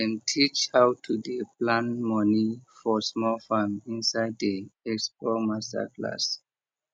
dem teach how to dey plan money for small farm inside di expo masterclass